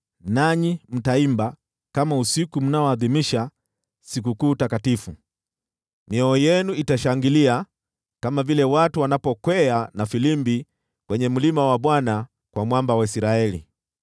Nanyi mtaimba kama usiku ule mnaadhimisha sikukuu takatifu. Mioyo yenu itashangilia kama vile watu wanapokwea na filimbi kwenye mlima wa Bwana , kwa Mwamba wa Israeli.